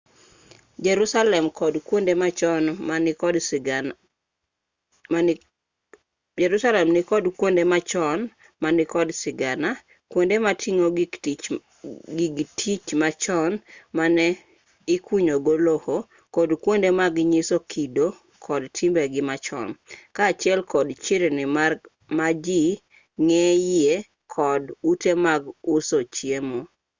jerusalem nikod kwonde machon ma nikod sigana kwonde moting'o gig tich machon mane ikunyogo lowo kod kwonde mag nyiso kido kod timbegi machon kaachiel kod chirni ma ji ng'enyie kod ute mag uso chiemo